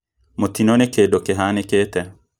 Mũtino nĩ kĩũndũ kĩhanĩkĩte